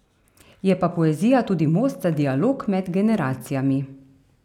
Je pa poezija tudi most za dialog med generacijami.